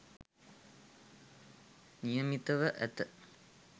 නියමිතව ඇත.